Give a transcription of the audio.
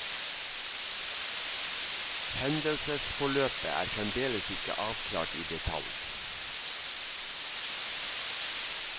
Hendelsesforløpet er fremdeles ikke avklart i detalj.